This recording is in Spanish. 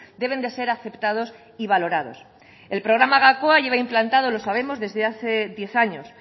deben de ser aceptados y valorados el programa gakoa lleva implantado lo sabemos desde hace diez años